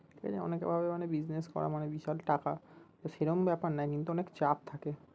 ঠিক আছে অনেকে ভাবে মানে business করা মানে বিশাল টাকা, তো সেরম ব্যাপার না কিন্তু অনেক চাপ থাকে